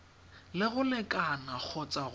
le go lekana kgotsa go